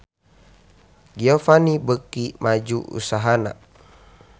Giovanni beuki maju usahana